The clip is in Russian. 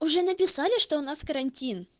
уже написали что у нас карантин